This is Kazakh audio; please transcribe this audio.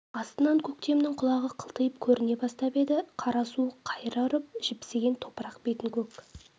астынан көктемнің құлағы қылтиып көріне бастап еді қара суық қайыра ұрып жіпсіген топырақ бетін көк